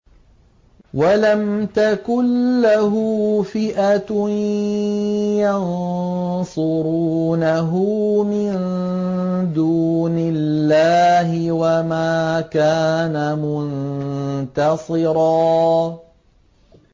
وَلَمْ تَكُن لَّهُ فِئَةٌ يَنصُرُونَهُ مِن دُونِ اللَّهِ وَمَا كَانَ مُنتَصِرًا